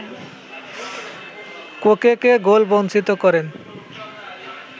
কোকেকে গোলবঞ্চিত করেন